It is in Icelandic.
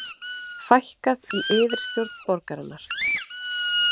Fækkað í yfirstjórn borgarinnar